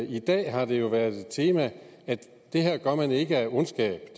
i dag har det jo været et tema at det her gør man ikke af ondskab